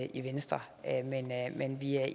i venstre men vi er